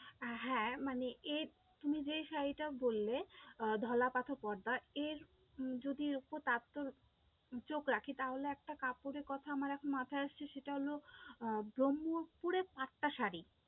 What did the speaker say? হ্যাঁ, মানে এর তুমি যেই শাড়িটা বললে আহ ঢলা পাথর পর্দা এর যদি চোখ রাখি তাহলে একটা কাপড়ের কথা আমার এখন মাথায় আসছে, সেটা হলো আহ ব্রহ্মপুরের পাট্টা শাড়ি